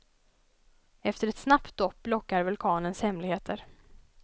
Efter ett snabbt dopp lockar vulkanens hemligheter.